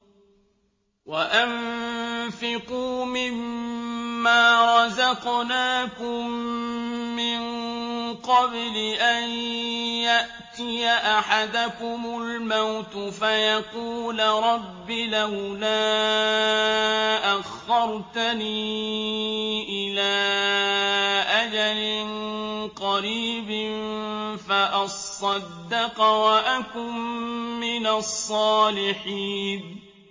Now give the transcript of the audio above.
وَأَنفِقُوا مِن مَّا رَزَقْنَاكُم مِّن قَبْلِ أَن يَأْتِيَ أَحَدَكُمُ الْمَوْتُ فَيَقُولَ رَبِّ لَوْلَا أَخَّرْتَنِي إِلَىٰ أَجَلٍ قَرِيبٍ فَأَصَّدَّقَ وَأَكُن مِّنَ الصَّالِحِينَ